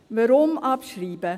Weshalb abschreiben?